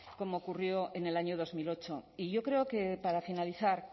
como ocurrió en el año dos mil ocho y yo creo que para finalizar